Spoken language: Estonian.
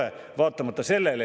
Tegelikult see päriselt nii ei ole.